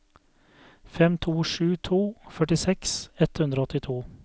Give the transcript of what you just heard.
fem to sju to førtiseks ett hundre og åttito